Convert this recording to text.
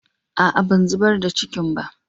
A'a ban zubar da cikin ba.